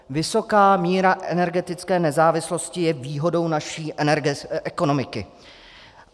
Vysoká míra energetické nezávislosti je výhodou naší ekonomiky.